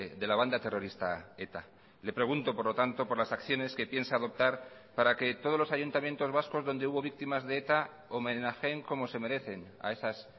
de la banda terrorista eta le pregunto por lo tanto por las acciones que piensa adoptar para que todos los ayuntamientos vascos donde hubo víctimas de eta homenajeen como se merecen a esas